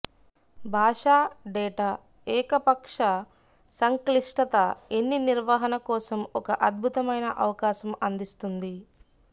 భాషా డేటా ఏకపక్ష సంక్లిష్టత ఎన్ని నిర్వహణ కోసం ఒక అద్భుతమైన అవకాశం అందిస్తుంది